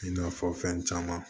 I n'a fɔ fɛn caman